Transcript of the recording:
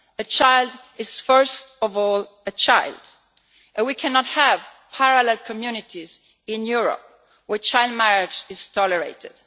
A child is first of all a child, and we cannot have parallel communities in Europe where child marriage is tolerated.